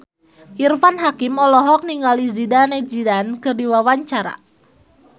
Irfan Hakim olohok ningali Zidane Zidane keur diwawancara